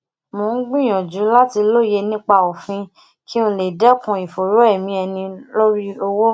mo ń gbìyànjú láti lóye nipa òfin kí n lè dekun ìfòòró emi ẹni lori owo